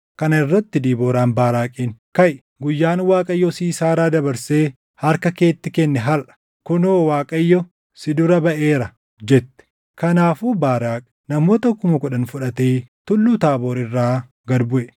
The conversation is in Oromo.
Kana irratti Debooraan Baaraaqiin, “Kaʼi! Guyyaan Waaqayyo Siisaaraa dabarsee harka keetti kenne harʼa. Kunoo Waaqayyo si dura baʼeera” jette. Kanaafuu Baaraaqi namoota kuma kudhan fudhatee Tulluu Taaboor irraa gad buʼe.